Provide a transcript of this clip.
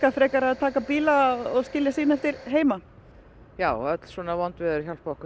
frekar að taka bíla og skilja sína eftir heima já öll svona vond veður hjálpa okkur